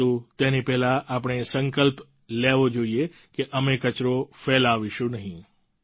પરંતુ તેની પહેલાં આપણે એ સંકલ્પ લેવો જોઈએ કે અમે કચરો ફેલાવશું નહીં